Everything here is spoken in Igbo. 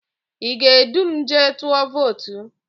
Ị ga-edu m jee tụọ votu?